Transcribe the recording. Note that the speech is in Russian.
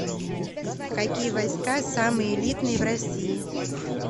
какие войска самые элитные в россии